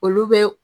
Olu bɛ